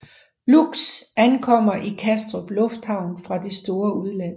Lux ankommer i Kastrup Lufthavn fra det store udland